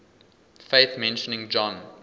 faith mentioning john